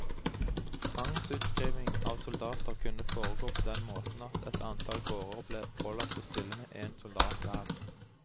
Tvangsutskriving av soldater kunne foregå på den måten at et antall gårder ble pålagt å stille med en soldat hver.